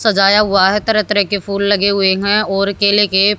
सजाया हुआ है तरह तरह के फूल लगे हुए हैं और केले के--